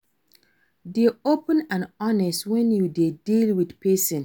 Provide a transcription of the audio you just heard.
Dey open and honest when you dey deal with person